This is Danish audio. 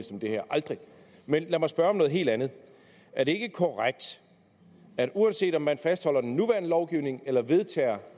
som det her aldrig men lad mig spørge om noget helt andet er det ikke korrekt at uanset om man fastholder den nuværende lovgivning eller vedtager